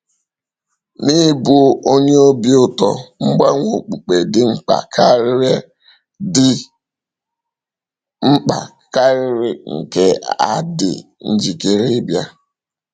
N’ịbụ onye obi ụtọ, mgbanwe okpukpe dị mkpa karịrị dị mkpa karịrị nke a dị njikere ịbịa.